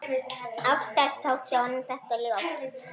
Oftast þótti honum þetta ljótt.